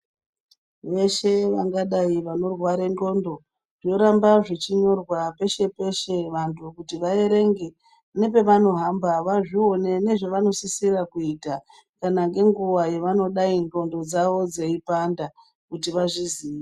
Veshe vangadai vano rware ndxondo zvoramba zvichi nyorwa peshe peshe vantu kuti va erenge ne pavano hamba va zvione nezve vano sisira kuita kana ne nguva dzavano ngana dai ndxondo dzei panda kuti va zviziye.